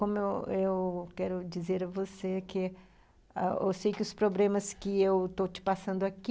Como eu eu quero dizer a você que ãh eu sei que os problemas que eu estou te passando aqui,